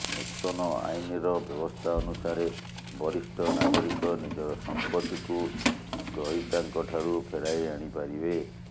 ନୂତନ ଆଇନର ବ୍ୟବସ୍ଥା ଅନୁସାରେ ବରିଷ୍ଠ ନାଗରିକ ନିଜର ସମ୍ପତ୍ତିକୁ ଗ୍ରହୀତାଙ୍କଠାରୁ ଫେରାଇ ଆଣିପାରିବେ